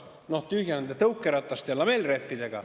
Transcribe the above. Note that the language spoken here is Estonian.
" Noh, tühja nende tõukerataste ja lamellrehvidega.